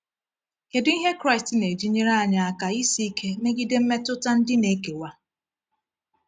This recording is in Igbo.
Kedu ihe Kraịst na-eji nyere anyị aka isi ike megide mmetụta ndị na-ekewa?